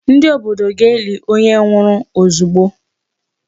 Ndị obodo ga-eli onye nwụrụ ozugbo.